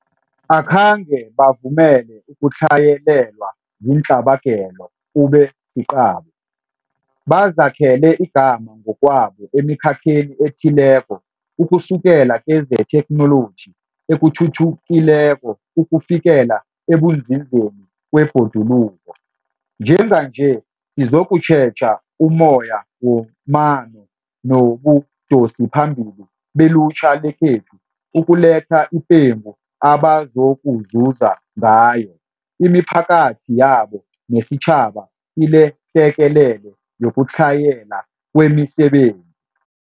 Akhange bavumele ukutlhayelelwa ziintlabagelo kube siqabo. Bazakhele igama ngokwabo emikhakheni ethileko ukusukela kezethekhnoloji ethuthukileko ukufikela ekunzinzeni kwebhoduluko. Njenganje sizokutjheja ummoya wamano nobudosiphambili belutjha lekhethu ukuletha ipengu abazokuzuza ngayo, imiphakathi yabo nesitjhaba kilehlekelele yokutlhayela kwemisebenzi.